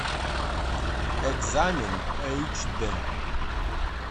экзамен эйч д